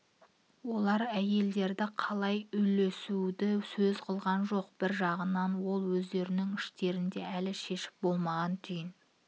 олар әйелдерді қалай үлесуді сөз қылған жоқ бір жағынан ол өздерінің іштерінде әлі шешіп болмаған түйін